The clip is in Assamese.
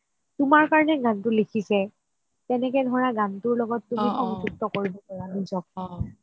তোমাৰ কাৰণে গানটো লিখিছে তেনেকে ধৰা গানটোৰ লগত তুমি নিজক